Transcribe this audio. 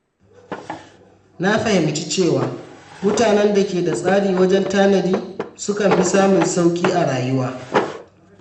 Na fahimci cewa mutanen da ke da tsari wajen tanadi sukan fi samun sauƙi a rayuwa.